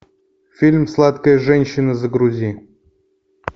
фильм сладкая женщина загрузи